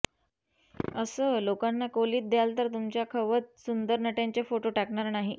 असं लोकांना कोलीत द्याल तर तुमच्या खवत सुंदर नट्यांचे फोटु टाकणार नाही